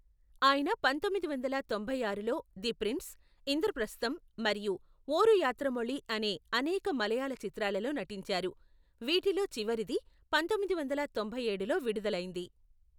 ఆయన పంతొమ్మిది వందల తొంభై ఆరులో ది ప్రిన్స్, ఇంద్రప్రస్థం మరియు ఓరు యాత్రమొళి అనే అనేక మలయాళ చిత్రాలలో నటించారు, వీటిలో చివరిది పంతొమ్మిది వందల తొంభై ఏడులో విడుదలైంది.